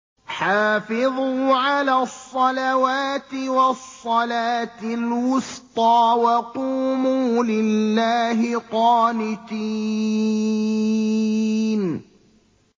حَافِظُوا عَلَى الصَّلَوَاتِ وَالصَّلَاةِ الْوُسْطَىٰ وَقُومُوا لِلَّهِ قَانِتِينَ